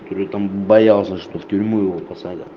я говорю там боялся что в тюрьму его посадят